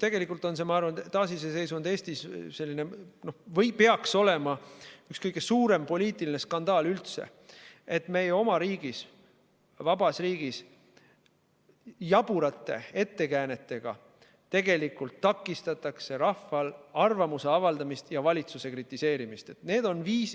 Tegelikult on see või peaks olema taasiseseisvunud Eestis üks kõige suurem poliitiline skandaal üldse, et meie oma riigis, vabas riigis jaburate ettekäänetega takistatakse rahval arvamust avaldada ja valitsust kritiseerida.